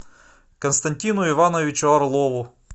константину ивановичу орлову